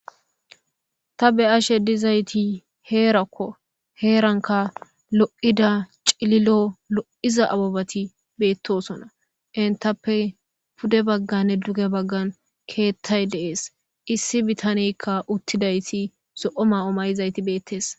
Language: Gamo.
ta be'ashe dizayti heerakko heeranka lo7ida cililo lo7iza abobati beettosona intappe pude bagganne duge baggan keettay de'es issi bitanekka uttidayti zo7o ma7o may7izayti beettees